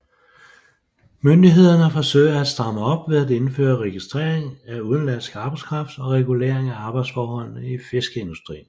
Myndighederne forsøger at stramme op ved at indføre registrering af udenlandsk arbejdskraft og regulering af arbejdsforholdene i fiskeindustrien